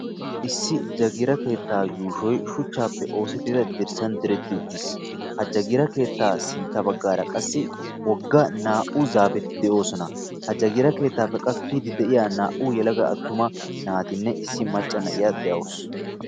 Issi jagiira keetta yuushoy shuchchappe oosettida dirssan diretti uttis. Ha jagiira keetta sintta baggaara qassi wogga naa"u zaafeti de'osona.ha jagiira keettappe qassi kiyiiddi de'iya naa"u attuma naatinne issi macca na'iya de'awus.